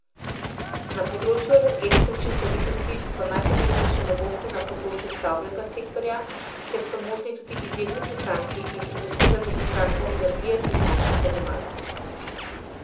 Na področju energetske učinkovitosti so najpomembnejše novosti na področju stavbenega sektorja, kjer so možni tudi izjemni prihranki, in pri doseganju prihrankov energije pri končnih odjemalcih.